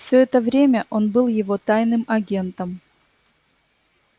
все это время он был его тайным агентом